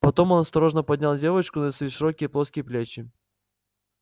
потом он осторожно поднял девочку на свои широкие плоские плечи